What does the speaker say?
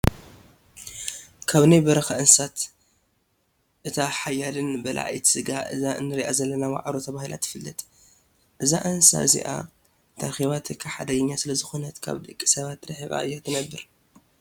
ካብ ናይ በረካ እንስሳት እቲ ሓያልን በላዒ ስጋ እዛ እነሪኣ ዘለና ዋዕሮ ተባሂላ ትፍላጥ እዛ እንስሳ እዚ እተረኺባትካ ሓደገኛን ስለዝኮነት ካብ ደቂ ሰባት ሪሒቃ እያ ተነብር።